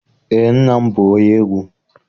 Eé, nna m bụ onye egwu.